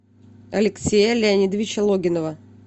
алексея леонидовича логинова